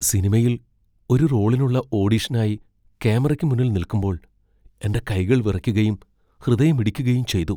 സിനിമയിൽ ഒരു റോളിനുള്ള ഓഡിഷനായി ക്യാമറയ്ക്ക് മുന്നിൽ നിൽക്കുമ്പോൾ എന്റെ കൈകൾ വിറയ്ക്കുകയും ഹൃദയമിടിക്കുകയും ചെയ്തു.